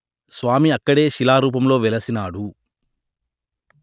స్వామి అక్కడే శిలారూపంలో వెలసినాడు